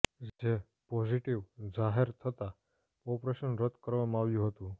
જે પોઝિટીવ જાહેર થતાં ઓપરેશન રદ કરવામાં આવ્યું હતું